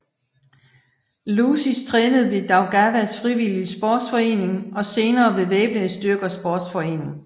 Lūsis trænede ved Daugavas Frivilliges Sportsforening og senere ved Væbnede Styrkers Sportsforening